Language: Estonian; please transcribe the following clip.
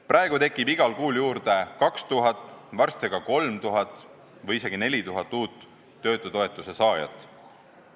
Praegu tekib igal kuul juurde 2000, varsti aga 3000 või isegi 4000 uut töötutoetuse saajat.